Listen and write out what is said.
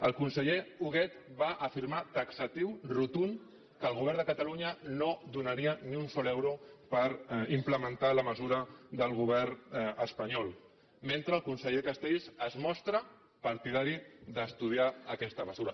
el conseller huguet va afirmar taxatiu rotund que el govern de catalunya no donaria ni un sol euro per im·plementar la mesura del govern espanyol mentre el conseller castells es mostra partidari d’estudiar aques·ta mesura